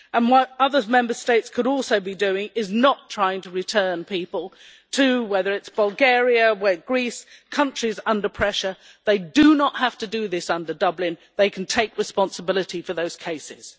What other Member States could also be doing is not trying to return people, whether it is to Bulgaria or Greece, countries under pressure, they do not have to do this under Dublin, they can take responsibility for those cases.